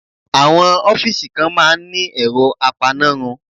Àwọn ọ́fíìsì kan máa ń ní ẹ̀rọ apanárun.